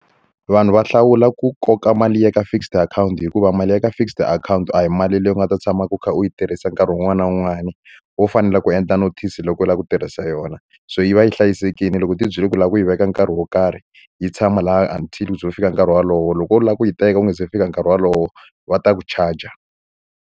Vanhu va hlawula ku koka mali i ya ka fixed akhawunti hikuva mali ya ka fixed akhawunti a hi mali leyi u nga ta tshama u kha u yi tirhisa nkarhi wun'wani na wun'wani wo fanele ku endla notice loko u lava ku tirhisa xa yona se yi va yi hlayisekile loko u ti byele ku lava ku yi veka nkarhi wo karhi yi tshama laha until u ze u fika nkarhi wolowo loko wo lava ku yi teka u nga se fika nkarhi wolowo va ta ku charger.